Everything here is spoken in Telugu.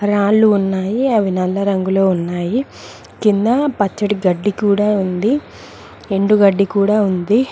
రాళ్లు ఉన్నాయి అవి నల్ల రంగులో ఉన్నాయి కింద పచ్చడి గడ్డి కూడా ఉంది ఎండు గడ్డి కూడా ఉంది.